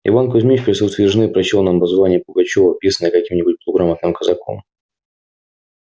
иван кузмич в присутствии жены прочёл нам воззвание пугачёва писанное каким-нибудь полуграмотным казаком